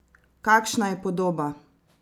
Kakšna je podoba?